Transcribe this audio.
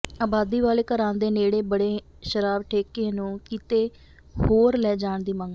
ਆਬਾਦੀ ਵਾਲੇ ਘਰਾਂ ਦੇ ਨੇੜੇ ਬਣੇ ਸ਼ਰਾਬ ਠੇਕੇ ਨੂੰ ਕਿਤੇ ਹੋਰ ਲੈ ਜਾਣ ਦੀ ਮੰਗ